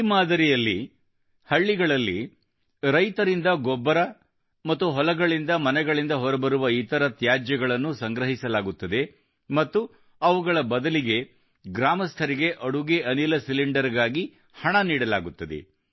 ಈ ಮಾದರಿಯ ಅಡಿಯಲ್ಲಿ ಹಳ್ಳಿಗಳಲ್ಲಿ ರೈತರಿಂದ ಗೊಬ್ಬರ ಮತ್ತು ಹೊಲಗಳಿಂದಮನೆಗಳಿಂದಹೊರಬರುವ ಇತರ ತ್ಯಾಜ್ಯಗಳನ್ನು ಸಂಗ್ರಹಿಸಲಾಗುತ್ತದೆ ಮತ್ತು ಅವುಗಳ ಬದಲಿಗೆ ಗ್ರಾಮಸ್ಥರಿಗೆ ಅಡುಗೆ ಅನಿಲ ಸಿಲಿಂಡರ್ ಗಾಗಿ ಹಣ ನೀಡಲಾಗುತ್ತದೆ